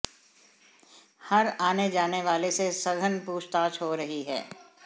हर आने जाने वाले से सघन पूछताछ हो रही है